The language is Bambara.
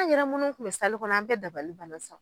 An' yɛrɛ munnu tun bɛ kɔnɔ an bɛɛ dabali banna sa